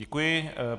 Děkuji.